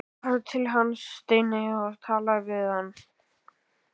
Farðu til hans, Steini, og talaðu við hann!